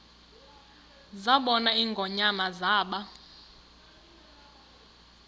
zabona ingonyama zaba